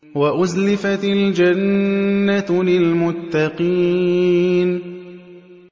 وَأُزْلِفَتِ الْجَنَّةُ لِلْمُتَّقِينَ